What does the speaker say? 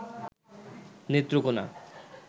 Netrokona